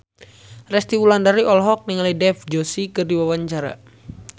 Resty Wulandari olohok ningali Dev Joshi keur diwawancara